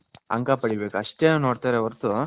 ಅಂಕ ಪಡಿಬೇಕು ಅಷ್ಟೆ ನೋಡ್ತಾರೆ ವರ್ತು ಅವರು ಇವರಿಗೆ .